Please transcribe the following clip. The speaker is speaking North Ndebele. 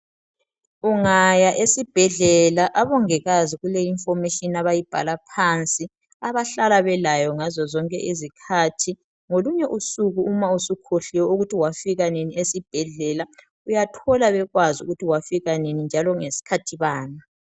Ungaya esibhedlela abongikazi kule information abayibhala phansi abahlala belayo ngazo zonke izikhathi .Ngolunye usuku uma usukhohliwe ukuthi wafika nini esibhedlela .Uyathola bekwazi ukuthi wafika nini njalo ngesikhathi bani .